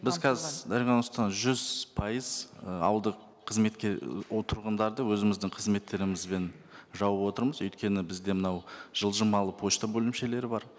біз қазір дарига нурсултановна жүз пайыз ы ауылды қызметке ол тұрғындарды өзіміздің қызметтерімізбен жауып отырмыз өйткені бізде мынау жылжымалы пошта бөлімшелері бар